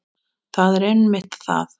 Það er einmitt það!